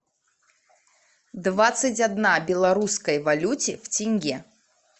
двадцать одна белорусской валюте в тенге